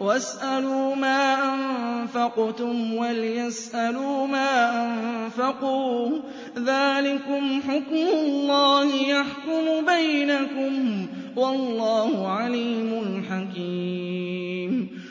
وَاسْأَلُوا مَا أَنفَقْتُمْ وَلْيَسْأَلُوا مَا أَنفَقُوا ۚ ذَٰلِكُمْ حُكْمُ اللَّهِ ۖ يَحْكُمُ بَيْنَكُمْ ۚ وَاللَّهُ عَلِيمٌ حَكِيمٌ